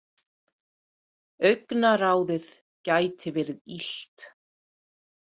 Augnaráðið gæti verið illt.